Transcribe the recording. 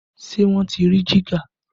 Ṣé wọ́n ti rí jígà?